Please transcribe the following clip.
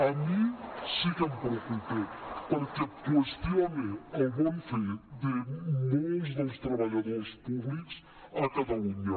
a mi sí que em preocupa perquè qüestiona el bon fer de molts dels treballadors públics a catalunya